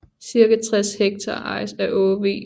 Ca 60 hektar ejes af Aage V